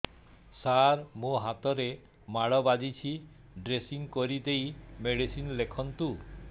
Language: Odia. ସାର ମୋ ହାତରେ ମାଡ଼ ବାଜିଛି ଡ୍ରେସିଂ କରିଦେଇ ମେଡିସିନ ଲେଖନ୍ତୁ